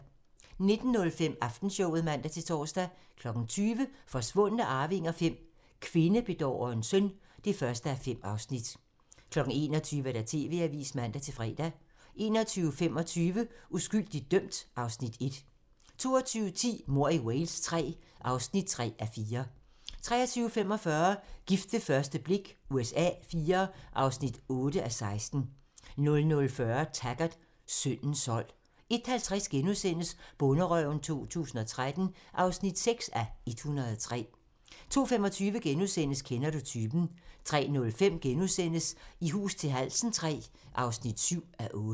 19:05: Aftenshowet (man-tor) 20:00: Forsvundne arvinger V: Kvindebedårerens søn (1:5) 21:00: TV-avisen (man-fre) 21:25: Uskyldigt dømt (Afs. 1) 22:10: Mord i Wales III (3:4) 23:45: Gift ved første blik USA IV (8:16) 00:40: Taggart: Syndens sold 01:50: Bonderøven 2013 (6:103)* 02:25: Kender du typen? * 03:05: I hus til halsen III (7:8)*